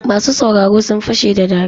Masu sauraro sun fashe da dariya.